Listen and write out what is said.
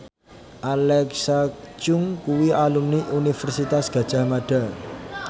Alexa Chung kuwi alumni Universitas Gadjah Mada